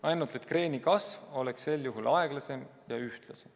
Ainult et kreeni kasv oleks sel juhul olnud aeglasem ja ühtlasem.